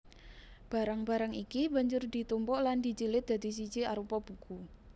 Barang barang iki banjur ditumpuk lan dijilid dadi siji arupa buku